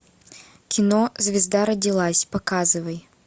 кино звезда родилась показывай